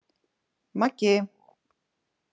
Maggi